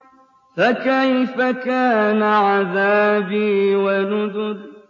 فَكَيْفَ كَانَ عَذَابِي وَنُذُرِ